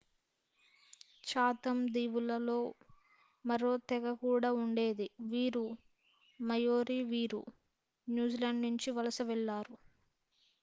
Chatham దీవుల్లో మరో తెగ కూడా ఉండేది వీరు మాయోరి వీరు న్యూజిలాండ్ నుంచి వలస వెళ్లారు